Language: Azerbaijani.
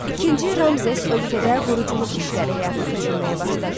İkinci Ramzes ölkədə quruculuq işləri həyata keçirməyə başladı.